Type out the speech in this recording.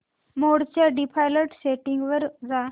मोड च्या default settings वर जा